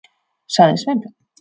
.- sagði Sveinbjörn.